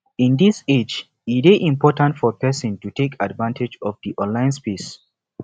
in this age e de important for persin to take advantage of di online space